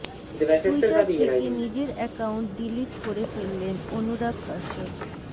Twitter থেকে নিজের account delete করে ফেললেন অনুরাগ কাশ্যপ